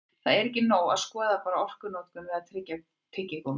Þó er ekki nóg að skoða bara orkunotkun við að tyggja tyggigúmmí.